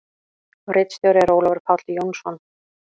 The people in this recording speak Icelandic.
Ritstjóri er Ólafur Páll Jónsson.